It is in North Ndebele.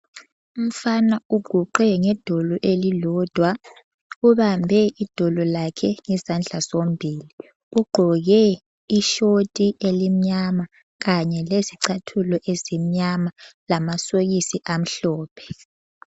Umfana uguqe ngedolo elilodwa ,ubambe idolo lakhe ngezandla zombili. Ugqoke ishort elimnyama kanye lezicathulo ezimyama lamasokisi amhlophe.